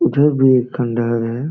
उधर भी एक खंडर है।